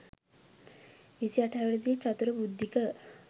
විසි අට හැවිරිදි චතුර බුද්ධික.